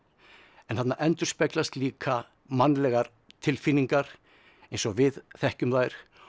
en þarna endurspeglast líka mannlegar tilfinningar eins og við þekkjum þær